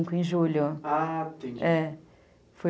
Junho, ah, sim , é